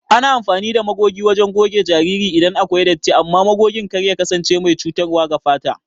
Ana amfani ɗa magoge wajen goge jariri iɗan akwai ɗatti amman magogen kar ya kasance mai cutarwa ga fata.